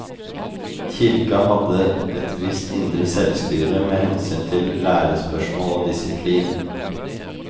Kirka hadde et visst indre selvstyre med hensyn til lærespørsmål og disiplin.